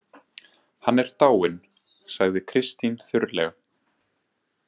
Hann er dáinn, sagði Kristín þurrlega.